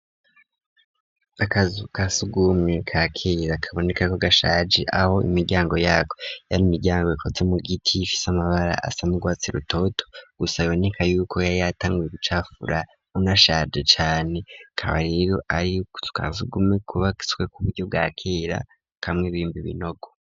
Akazu kasugumwe ka kera kaboneka ko gashaje aho imiryango yako yari imiryango ikotse mugiti ifise amabara asana urwatsi rutoto gusa boneka yuko yari yatanguye gucafura unashaje cane ukaba rero ariko kazu sugume kubatswe kuburyo bwa kera kamwe bimba binogo.